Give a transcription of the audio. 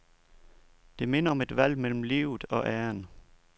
Det minder om et valg mellem livet og æren.